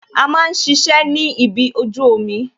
A máa ń ṣiṣẹ́ ni ibi ojú omi